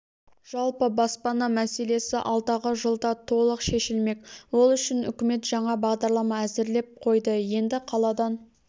жалпы баспана мәселесі алдағы жылда толық шешілмек ол үшін үкімет жаңа бағдарлама әзірлеп қойды енді қаладан